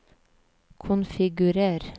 konfigurer